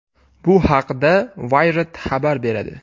Bu haqda Wired xabar beradi.